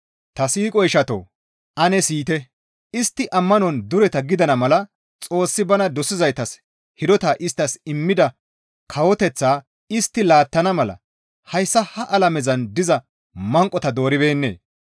Ta siiqo ishatoo! Ane siyite; istti ammanon dureta gidana mala Xoossi bana dosizaytas hidota isttas immida kawoteththaa istti laattana mala hayssa ha alamezan diza manqota dooribeennee?